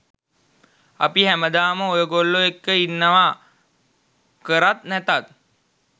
අපි හැමදාම ඔයගොල්ලෝ එක්ක ඉන්නවා කරත් නැතත්.